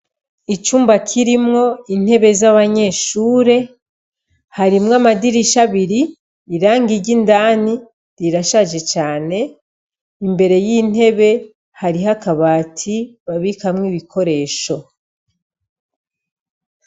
Icumba kirimwo intebe z'abanyeshure, harimwo amadirisha abiri, irangi ry'indani rirashaje cane. Imbere y'intebe, hariho akabati, babikamwo ibikoresho.